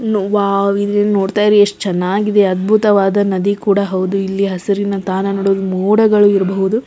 wow ಇದು ನೋಡತಾಯಿದ್ರೆ ಎಷ್ಟು ಚೆನ್ನಾಗಿ ಇದೆ ಅದ್ಭುತವಾದ ನದಿ ಕೂಡ ಹೌದು ಇಲ್ಲಿ ಹಸಿರಿನ ತಾನಗಳು ಮೋಡಗಳು ಇರ್ಬಹುದು --